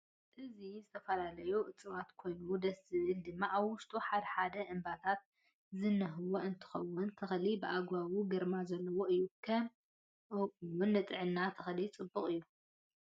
አዚ ዝተፈላለዩ ዕፃዋት ኮይኑ ደስ ዝብል ድማ አብ ውሽጡ ሓደ ሓደ እንበባታት ዝነህዎ እንትኮን ተክሊታት ብአግባቡ ግርማ ዘለዎ እዩ ከም ኦውን ንጥዕና ተክሊ ፅቡቅ እዩ።